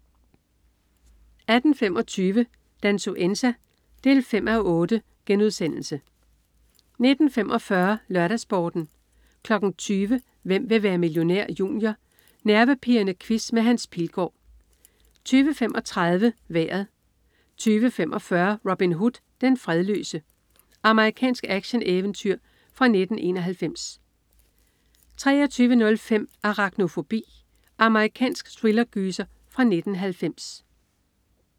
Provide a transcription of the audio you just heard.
18.25 Dansuenza 5:8* 19.45 LørdagsSporten 20.00 Hvem vil være millionær? Junior. Nervepirrende quiz med Hans Pilgaard 20.35 Vejret 20.45 Robin Hood, den fredløse. Amerikansk actioneventyr fra 1991 23.05 Araknofobi. Amerikansk thrillergyser fra 1990